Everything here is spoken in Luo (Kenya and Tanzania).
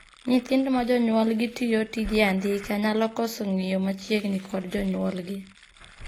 Nyithindo ma jonyuolgi tiyo tije andika nyalo koso ng'iyo machiegni kod jonyuolgi